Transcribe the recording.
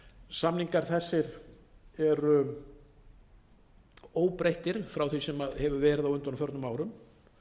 samningar þessir eru óbreyttir frá því sem hefur verið á undanförnum árum